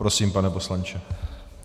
Prosím, pane poslanče.